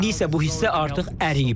İndi isə bu hissə artıq əriyib.